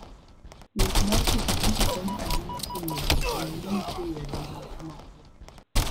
Wuoth mar pikipiki konyo ahinya e miyo ji ong'e ni nitie yore mamoko mag wuoth.